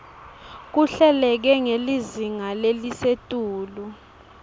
kuhleleke ngelizinga lelisetulu